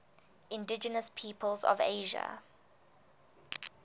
indigenous peoples of asia